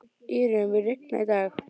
Írunn, mun rigna í dag?